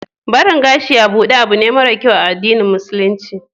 barin gashi a buɗe abune mara kyau a addinin musulunci